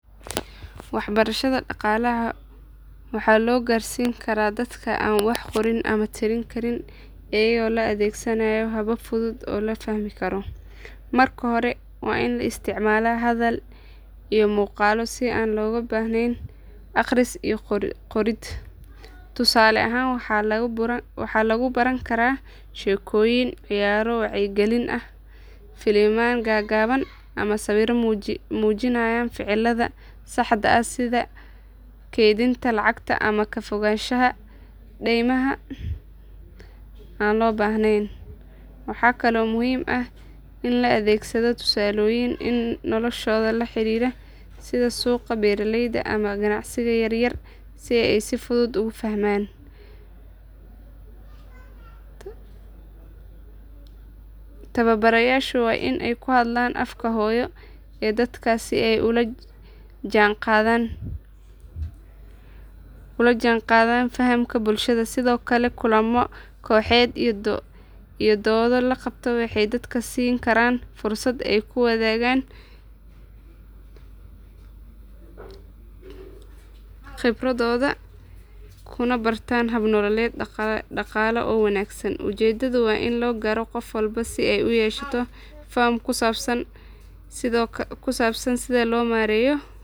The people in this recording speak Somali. Waxbarashada dhaqaalaha waxaa loo gaarsiin karaa dadka aan wax qorin ama tirin karin iyadoo la adeegsanayo habab fudud oo la fahmi karo. Marka hore waa in la isticmaalaa hadal iyo muuqaallo si aan looga baahnayn akhris iyo qorid. Tusaale ahaan waxaa lagu baran karaa sheekooyin, ciyaaro wacyigelin ah, filimaan gaagaaban, ama sawirro muujinaya ficillada saxda ah sida keydinta lacagta ama ka fogaanshaha deymaha aan loo baahnayn. Waxaa kaloo muhiim ah in la adeegsado tusaalooyin noloshooda la xiriira sida suuqa, beeraleyda, ama ganacsiga yar yar si ay si fudud ugu fahmaan. Tababarayaashu waa inay ku hadlaan afka hooyo ee dadkaas si ay ula jaanqaadaan fahamka bulshada. Sidoo kale kulammo kooxeed iyo doodo la qabto waxay dadka siin karaan fursad ay ku wadaagaan khibradooda kuna bartaan hab nololeed dhaqaale oo wanaagsan. Ujeeddadu waa in la gaaro qof walba si uu u yeesho faham ku saabsan sida loo maareeyo.